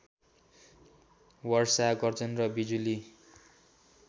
वर्षा गर्जन र बिजुली